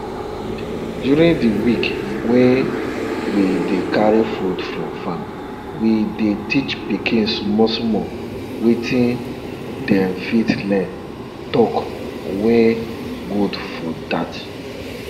during di week wey we dey carry food from farm we dey teach pikin small small waiting dem fit learn talk wey good for dat